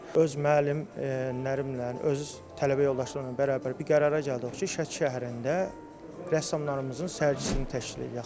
Öz müəllim Nərimanla, özü tələbə yoldaşları ilə bərabər bir qərara gəldik ki, Şəki şəhərində rəssamlarımızın sərgisini təşkil eləyək.